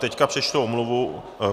Teď přečtu omluvu.